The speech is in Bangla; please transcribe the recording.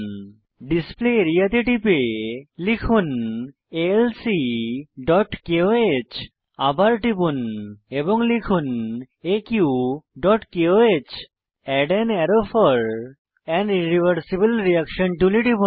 ডিসপ্লে আরিয়া তে টিপে লিখুন alcকোহ আবার টিপুন এবং লিখুন aqকোহ add an arrow for an irreversible reaction টুলে টিপুন